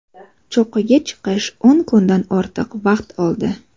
Cho‘qqiga chiqish o‘n kundan ortiq vaqt oldi.